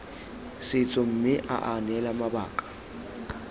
setso mme aa neela mabaka